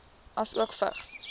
asook vigs